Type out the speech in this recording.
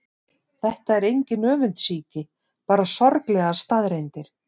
Þetta er engin öfundsýki, bara sorglegar staðreyndir.